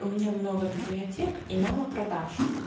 у меня много библиотек и мало продаж